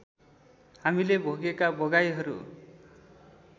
हामीले भोगेका भोगाइहरू